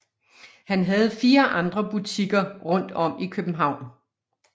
Han havde fire andre butikker rundt om i København